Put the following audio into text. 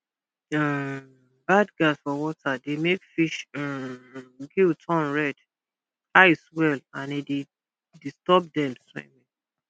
um bad gas for water dey make fish um gill turn red eye swell and e dey disturb dem swimming